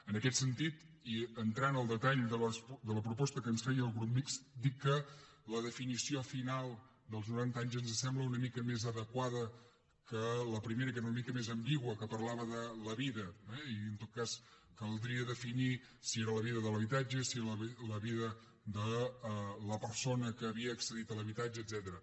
en aquest sentit i entrant al detall de la proposta que ens feia el grup mixt dir que la definició final dels noranta anys ens sembla una mica més adequada que la primera que era una mica més ambigua que parlava de la vida eh i en tot cas caldria definir si era la vida de l’habitatge si era la vida de la persona que havia accedit a l’habitatge etcètera